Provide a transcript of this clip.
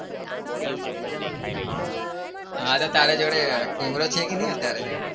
હા તો તારા જોડે camera છે કે નહી અત્યારે?